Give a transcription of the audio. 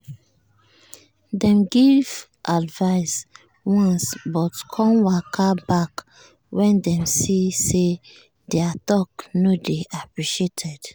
dem give advice once but con waka back when dem see say their talk no dey appreciated.